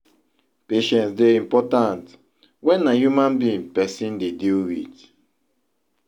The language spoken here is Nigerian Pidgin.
patience dey important when na human being person dey deal with